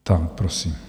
Tak prosím.